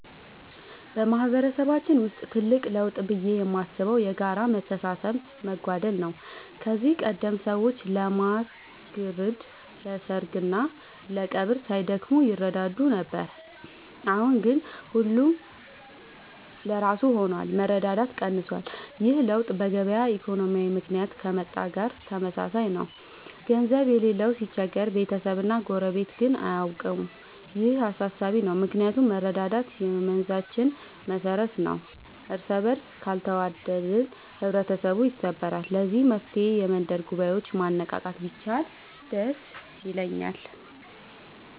በማህበረሰባችን ውስጥ ትልቅ ለውጥ ብዬ የማስበው የጋራ መተሳሰብ መጓደል ነው። ከዚህ ቀደም ሰዎች ለማር ግርድ፣ ለሰርግና ለቀብር ሳይደክሙ ይረዳዱ ነበር። አሁን ግን ሁሉም ለራሱ ሆኗል፤ መረዳዳት ቀንሷል። ይህ ለውጥ በገበያ ኢኮኖሚ ምክንያት ከመጣ ጋር ተመሳሳይ ነው፤ ገንዘብ የሌለው ሲቸገር ቤተሰብና ጎረቤት ግን አያውቀውም። ይህ አሳሳቢ ነው ምክንያቱም መረዳዳት የመንዛችን መሰረት ነበር። እርስበርስ ካልተዋደቅን ህብረተሰቡ ይሰበራል። ለዚህ መፍትሔ የመንደር ጉባኤዎችን ማነቃቃት ቢቻል ደስ ይለኛል።